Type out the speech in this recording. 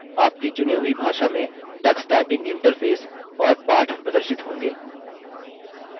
आपकी चुनी हुई भाषा में टक्स टाइपिंग इंटरफेस और पाठ प्रदर्शित होंगे